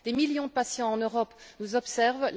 Des millions de patients en Europe nous observent.